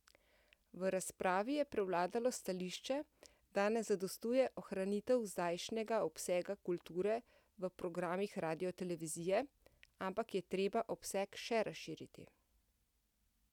V razpravi je prevladalo stališče, da ne zadostuje ohranitev zdajšnjega obsega kulture v programih radiotelevizije, ampak je treba obseg še razširiti.